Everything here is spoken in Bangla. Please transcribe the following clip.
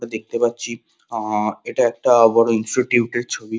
দেখতে পাচ্ছি আ-আ এটা একটা বড় ইনস্টিটিউট এর ছবি।